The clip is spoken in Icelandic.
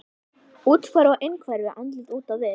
Úthverfa á innhverfu, andlit út á við.